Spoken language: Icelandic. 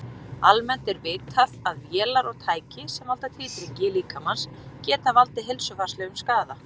Almennt er vitað að vélar og tæki, sem valda titringi líkamans, geta valdið heilsufarslegum skaða.